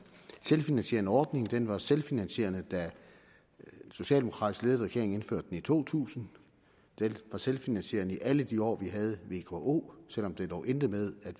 selvfinansierende ordning den var selvfinansierende da en socialdemokratisk ledet regering indførte den i to tusind den var selvfinansierende i alle de år vi havde vko selv om det dog endte med at